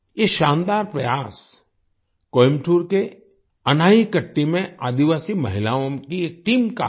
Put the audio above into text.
ये शानदार प्रयास कोयंबटूर के अनाईकट्टी में आदिवासी महिलाओं की एक टीम का है